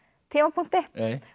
tímapunkti